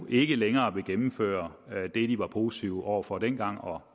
ikke længere gennemføre det de var positive over for dengang og